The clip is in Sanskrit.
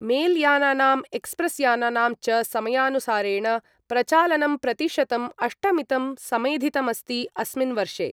मेलयानानाम् एक्स्प्रेस्यानानां च समयानुसारेण प्रचालनं प्रतिशतं अष्टमितं समेधितमस्ति अस्मिन् वर्षे।